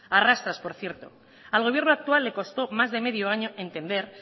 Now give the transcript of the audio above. arrastras por cierto al gobierno actual le costó más de medio año entender